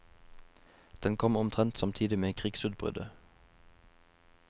Den kom omtrent samtidig med krigsutbruddet.